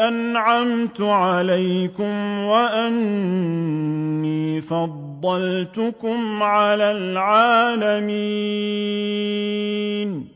أَنْعَمْتُ عَلَيْكُمْ وَأَنِّي فَضَّلْتُكُمْ عَلَى الْعَالَمِينَ